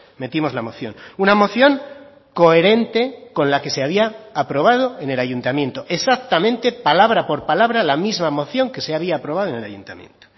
metimos la moción una moción coherente con la que se había aprobado en el ayuntamiento exactamente palabra por palabra la misma moción que se había aprobado en el ayuntamiento